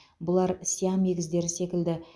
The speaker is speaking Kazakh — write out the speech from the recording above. бұлар сиам егіздері секілді